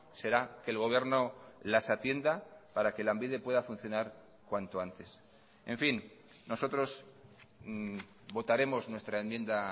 será que el gobierno las atienda para que lanbide pueda funcionar cuanto antes en fin nosotros votaremos nuestra enmienda